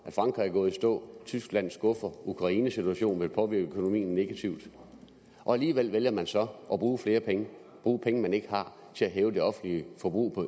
at frankrig er gået i stå at tyskland skuffer at ukrainesituationen vil påvirke økonomien negativt og alligevel vælger man så at bruge flere penge bruge penge man ikke har til at hæve det offentlige forbrug